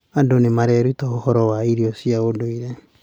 Andũ nĩ mareruta ũhoro wĩgiĩ irio cia ũndũire.